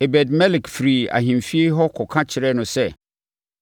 Ebed-Melek firii ahemfie hɔ kɔka kyerɛɛ no sɛ,